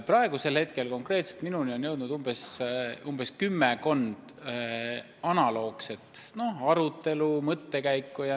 Praegu on konkreetselt minuni jõudnud teave kümmekonnast arutelust sel teemal.